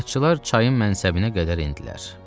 Tədqiqatçılar çayın mənsəbinə qədər endilər.